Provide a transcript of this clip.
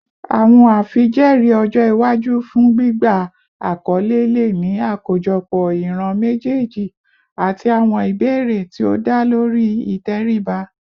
Awọn afijẹẹri ọjọ iwaju fun gbigba akọle le ni akojọpọ iran mejeeji ati awọn ibeere ti o da lori iteriba